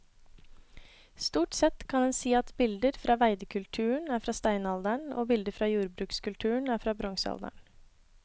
Stort sett kan en si at bilder fra veidekulturen er fra steinalderen og bilder fra jordbrukskulturen er fra bronsealderen.